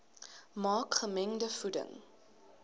maak gemengde voeding